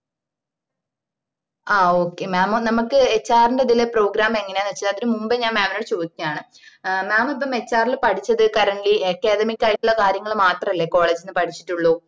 ആ okay mam നമ്മക്ക് HR ന്റേതില് program എങ്ങനാണ് വെച്ച അതിന്റെ മുമ്പെ ഞാന് mam നോട് ചോദിക്കാണ് ഏഹ് mam ഇപ്പൊ HR ന്റേതില് പഠിച്ചത് currently academic ആയിട്ടുള്ള കാര്യങ്ങള് മാത്രല്ലേ college ന്ന് പടിച്ചിട്ടുള്ളൂ